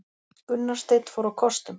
Gunnar Steinn fór á kostum